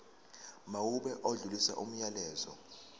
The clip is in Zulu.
mawube odlulisa umyalezo